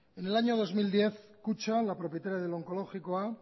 en el año dos mil diez kutxa la propietaria del onkologikoa